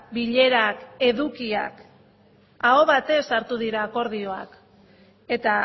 bilerak edukiak aho batez hartu dira akordioak eta